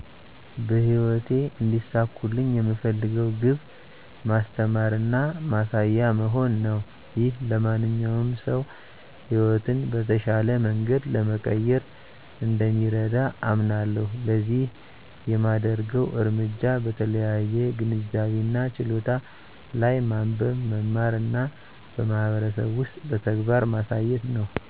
በህይወቴ እንዲሳኩልኝ የምፈልገው ግብ ማስተማር እና ማሳያ መሆን ነው። ይህ ለማንኛውም ሰው ሕይወትን በተሻለ መንገድ ለመቀየር እንደሚረዳ አምናለሁ። ለዚህ የማደርገው እርምጃ በተለያዩ ግንዛቤ እና ችሎታ ላይ ማንበብ፣ መማር እና በማህበረሰብ ውስጥ በተግባር ማሳየት ነው።